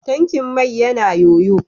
Tankin mai yana ƴoƴo.